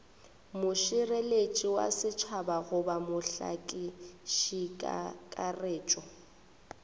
mošireletši wa setšhaba goba mohlakišikakaretšo